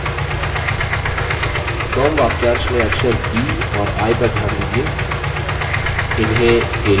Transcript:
from वाक्यांश में अक्षर b और i पर ध्यान दीजिये